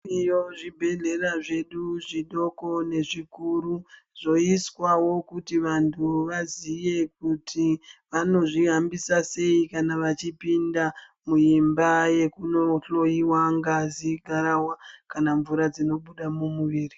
Zviriyo zvibhedhlera zvedu zvidoko nezvikuru zvoiswawo kuti vantu vaziye kuti vanozvihambisa sei kana vachipinda muimba yekunohloyiwa ngazi dzawo kana mvura dzinobuda mumuiri.